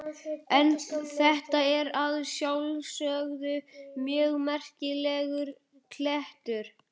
En þetta er að sjálfsögðu mjög merkilegur klettur.